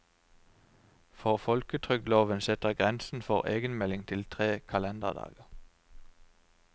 For folketrygdloven setter grensen for egenmelding til tre kalenderdager.